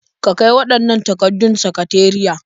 Ka kai waɗannan takardun sakateriya.